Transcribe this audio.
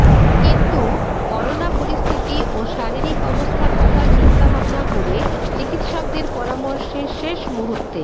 কিন্তু করোনা পরিস্থিতি ও শারীরিক অবস্থার কথা চিন্তাভাবনা করে চিকিৎসকদের পরামর্শে শেষ মূহুর্তে